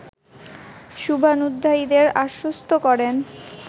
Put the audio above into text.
শুভান্যুধ্যায়ীদের আশ্বস্ত করেন